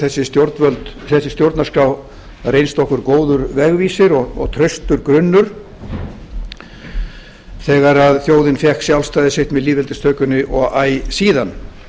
þessi stjórnarskrá reynst okkur góður vegvísir og traustur grunnur þegar þjóðin fékk sjálfstæði sitt með lýðveldistökunni og æ síðan